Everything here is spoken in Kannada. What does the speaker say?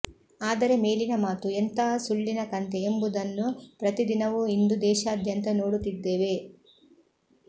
ಆದರೆ ಮೇಲಿನ ಮಾತು ಎಂಥ ಸುಳ್ಳಿನ ಕಂತೆ ಎಂಬುದನ್ನು ಪ್ರತಿದಿನವೂ ಇಂದು ದೇಶಾದ್ಯಂತ ನೋಡುತ್ತಿದ್ದೇವೆ